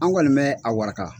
An kɔni bɛ a waraka.